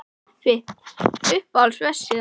kaffi Uppáhalds vefsíða?